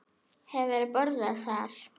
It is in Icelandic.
Hefurðu borðað þar?